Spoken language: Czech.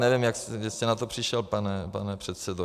Nevím, kde jste na to přišel, pane předsedo.